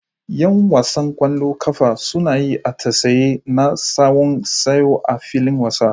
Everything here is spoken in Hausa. Yan wasan kwallon kafa sun yi atisaye na tsawon sa'o'i a filin wasa.